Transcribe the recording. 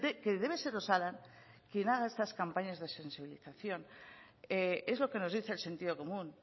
que debe ser osalan quien haga estas campañas de sensibilización es lo que nos dice el sentido común